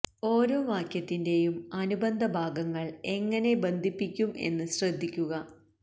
ഓരോ വാക്യത്തിന്റെയും അനുബന്ധ ഭാഗങ്ങൾ എങ്ങനെ ബന്ധിപ്പിക്കും എന്ന് ശ്രദ്ധിക്കുക